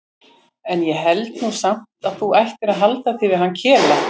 En ég held nú samt að þú ættir að halda þig við hann Kela.